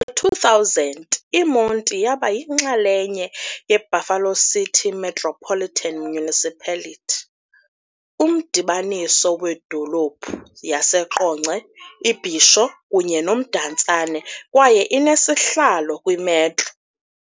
2000, iMonti yaba yinxalenye yeBuffalo City Metropolitan Municipality, umdibaniso wedolophu yaseQonce, iBhisho kunye noMdantsane kwaye inesihlalo kwi-Metro.